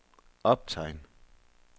optegn